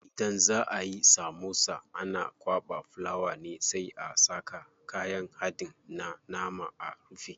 Idan za ayi samosa ana kwaɓa fulawa ne sai a saka kayan haɗin na nama a rufe.